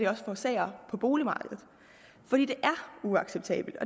også forårsager på boligmarkedet fordi det er uacceptabelt